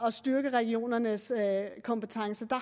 at styrke regionernes kompetencer der